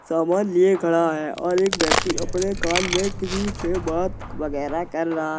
सामान लिए खड़ा है और एक व्यक्ति अपने कान में किसी से बात वगैरह कर रहा--